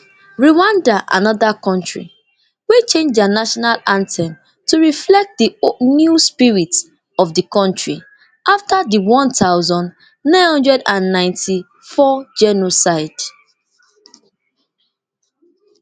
rwandana anoda kontri wey change dia national anthem to reflect di new spirit of di kontri afta di one thousand, nine hundred and ninety-four genocide